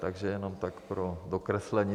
Takže jenom tak pro dokreslení.